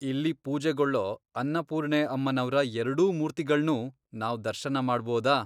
ಇಲ್ಲಿ ಪೂಜೆಗೊಳ್ಳೋ ಅನ್ನಪೂರ್ಣೆ ಅಮ್ಮನವ್ರ ಎರ್ಡೂ ಮೂರ್ತಿಗಳ್ನೂ ನಾವ್ ದರ್ಶನ ಮಾಡ್ಬೋದ?